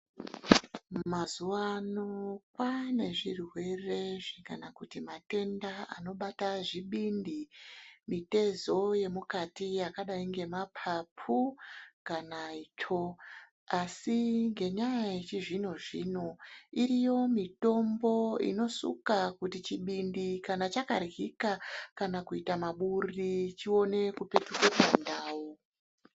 Mazuwa ano kwane zvirwere kana kuti matenda anobata zvibindi, mitezo yemukati yakadai ngemapapu kana itsvo, asi ngenyaa yechizvino zvino iriyo mitombo inosuka kuti chibindi kana chakaryika kana kuita maburi chione kupetuke pandau.